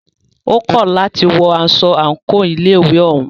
Ó kọ̀ láti wọ aṣọ àńkò ilé ìwé òún.